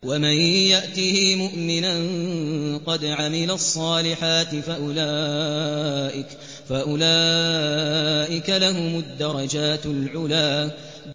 وَمَن يَأْتِهِ مُؤْمِنًا قَدْ عَمِلَ الصَّالِحَاتِ فَأُولَٰئِكَ لَهُمُ الدَّرَجَاتُ الْعُلَىٰ